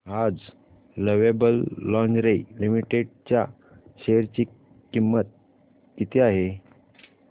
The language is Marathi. आज लवेबल लॉन्जरे लिमिटेड च्या शेअर ची किंमत किती आहे